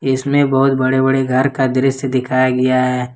इसमें बहुत बड़े बड़े घर का दृश्य दिखाया गया है।